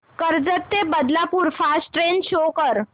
कर्जत ते Badlapur fast train show कर